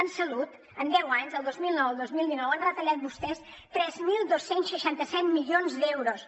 en salut en deu anys del dos mil nou al dos mil dinou han retallat vostès tres mil dos cents i seixanta set milions d’euros